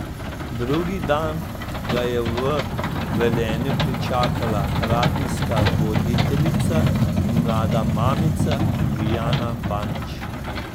Drugi dan ga je v Velenju pričakala radijska voditeljica in mlada mamica Ivjana Banić.